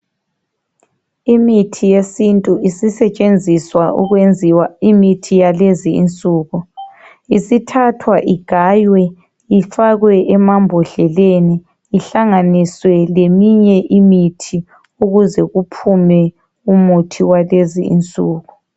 Imithi yesintu isisetshenziswa ukwenziwa imithi yalezi insuku. Isithathwa igaywe ifakwe emambodleleni ihlanganiswe leminye imithi ukuze kuphume umuthi walezi insuku.